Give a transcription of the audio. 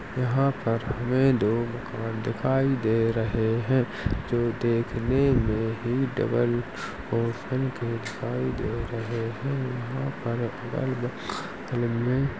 यहाँ पर हमें दो मकान दिखाई दे रहे हैं। जो देखने में ही डबल ओसन के दिखाई दे रहे हैं।